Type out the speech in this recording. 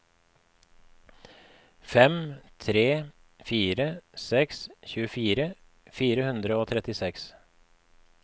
fem tre fire seks tjuefire fire hundre og trettiseks